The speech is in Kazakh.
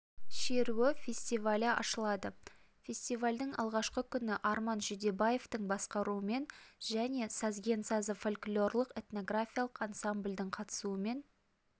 шеруі фестивалі ашылады фестивалдің алғашқы күні арман жүдебаевтың басқаруымен және сазген сазы фольклорлық-этнографиялық ансамбльдің қатысуымен